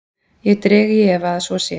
Ég dreg í efa að svo sé.